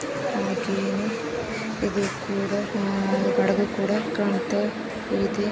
ಹಾಗೇನೇ ಇದೂ ಕೂಡಾ ಆಹ್ ಹಡಗು ಕೂಡಾ ಕಾಣ್ತಾ ಇದೆ--